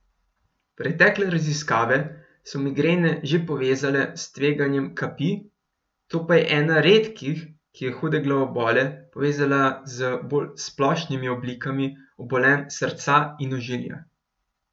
Pretekle raziskave so migrene že povezale s tveganjem kapi, ta pa je ena redkih, ki je hude glavobole povezala z bolj splošnimi oblikami obolenj srca in ožilja.